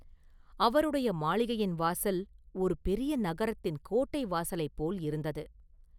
அவருடைய மாளிகையின் வாசல் ஒரு பெரிய நகரத்தின் கோட்டை வாசலைப் போல் இருந்தது.